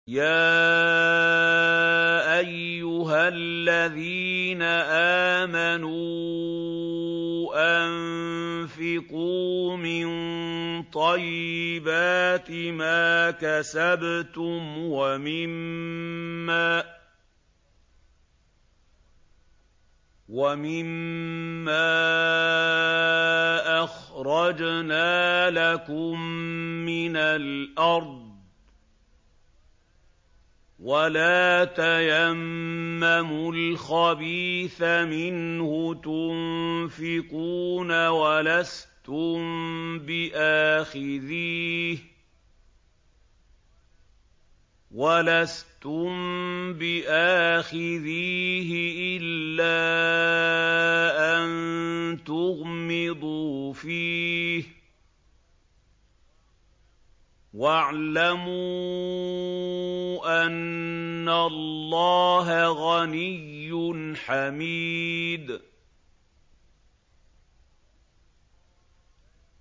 يَا أَيُّهَا الَّذِينَ آمَنُوا أَنفِقُوا مِن طَيِّبَاتِ مَا كَسَبْتُمْ وَمِمَّا أَخْرَجْنَا لَكُم مِّنَ الْأَرْضِ ۖ وَلَا تَيَمَّمُوا الْخَبِيثَ مِنْهُ تُنفِقُونَ وَلَسْتُم بِآخِذِيهِ إِلَّا أَن تُغْمِضُوا فِيهِ ۚ وَاعْلَمُوا أَنَّ اللَّهَ غَنِيٌّ حَمِيدٌ